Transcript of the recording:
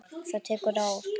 Það tekur ár.